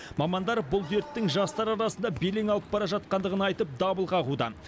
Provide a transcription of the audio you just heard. мамандар бұл дерттің жастар арасында белең алып бара жатқандығын айтып дабыл қағуда